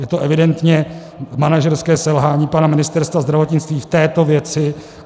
Je to evidentně manažerské selhání pana ministra zdravotnictví v této věci.